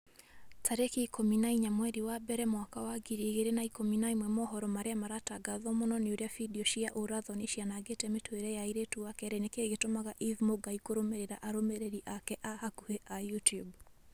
tarĩki ikũmi na inya mweri wa mbere mwaka wa ngiri igĩrĩ na ikũmi na ĩmwe mohoro marĩa maratangatwo mũno ni ũrĩa findio cia ũũra-thoni cianangĩte mĩtũrĩre ya airĩtu wa kerĩ nĩkĩĩ gĩtũmaga eve mũngai kũrũmĩrĩra arũmĩrĩri ake a hakuhi a YouTUBE